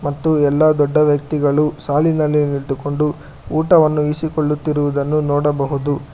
ಮತ್ತು ಎಲ್ಲಾ ದೊಡ್ಡ ವ್ಯಕ್ತಿಗಳು ಸಾಲಿನಲ್ಲಿ ನಿಂತುಕೊಂಡು ಊಟವನ್ನು ಇರಿಸಿಕೊಳ್ಳುತ್ತಿರುವುದನ್ನು ನೋಡಬಹುದು.